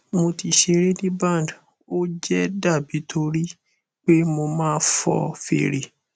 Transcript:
mo ti sere ni band o je dabi nitori pe mo ma fo fere